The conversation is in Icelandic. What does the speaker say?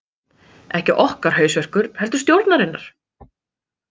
Ekki okkar hausverkur heldur stjórnarinnar